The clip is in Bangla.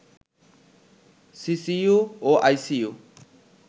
সিসিইউ ও আইসিইউ